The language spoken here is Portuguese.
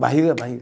Barriga, barriga.